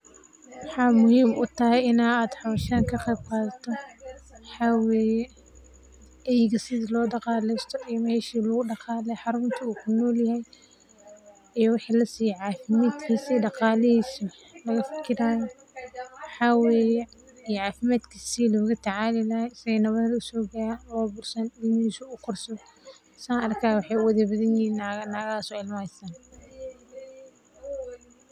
Maxa muhiim u tahay in aad hawshan ka qeyb qaadato, waxaa weye eyga sithi lo daqalesto iyo mesha lagu daqaleyo, xarunta u ku nolyahay, iyo waxi lasiye cafimaadkisa, daqalihisa laga fikirayo, waxa weye cafimaadkisa sithi loga tacali lahay, si ee nawara usogarin oo bursanin, ilmihisa u ukorsadho, san arki hayo wexe uwala badan yihin nago, nagahaso ilma hastan.